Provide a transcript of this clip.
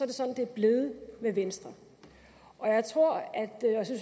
det sådan det er blevet med venstre og